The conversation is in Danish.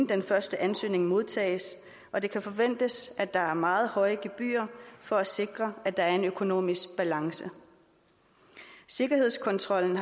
den første ansøgning modtages og det kan forventes at der er meget høje gebyrer for at sikre at der er en økonomisk balance sikkerhedskontrollen